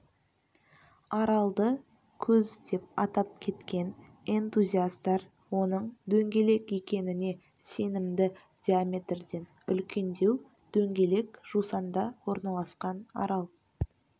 аралды көз деп атап кеткен энтузиастар оның дөңгелек екеніне сенімді диаметрден үлкендеу дөңгелек жусанда орналасқан арал